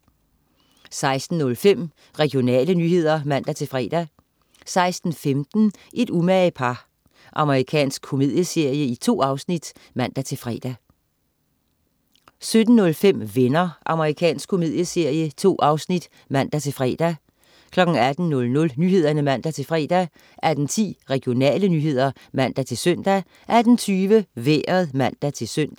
16.05 Regionale nyheder (man-fre) 16.15 Et umage par. Amerikansk komedieserie. 2 afsnit (man-fre) 17.05 Venner. Amerikansk komedieserie. 2 afsnit (man-fre) 18.00 Nyhederne (man-fre) 18.10 Regionale nyheder (man-søn) 18.20 Vejret (man-søn)